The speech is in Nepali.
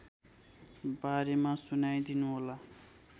बारेमा सुनाइदिनुहोला